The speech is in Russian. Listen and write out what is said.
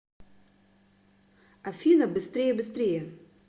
афина быстрее быстрее